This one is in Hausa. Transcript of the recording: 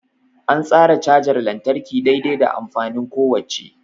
An tsara cajar lantarki dai-dai da amfanin kowacce.